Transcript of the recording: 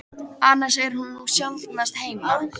Annars er hún nú sjaldnast heima.